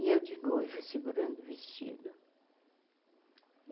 E eu de noiva, segurando o vestido.